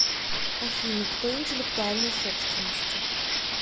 афина кто интеллектуальной собственности